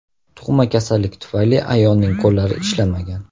Tug‘ma kasallik tufayli, ayolning qo‘llari ishlamagan.